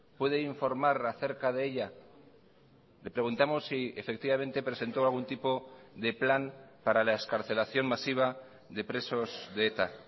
puede informar acerca de ella le preguntamos si efectivamente presentó algún tipo de plan para la excarcelación masiva de presos de eta